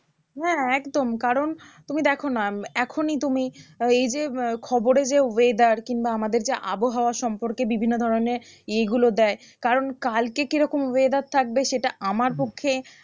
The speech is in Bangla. হ্যাঁ একদম কারণ তুমি দেখো না এখনই তুমি আহ এই যে আহ খবরে যে weather কিংবা আমাদের যে আবহাওয়া সম্পর্কে বিভিন্ন ধরণের ইয়ে গুলো দেয় কারণ কালকে কিরকম weather থাকবে সেটা আমার পক্ষে